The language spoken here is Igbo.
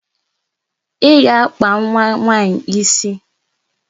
I ga-akpa nwa nwaanyi isi!